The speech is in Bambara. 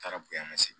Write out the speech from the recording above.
Taara boyan segen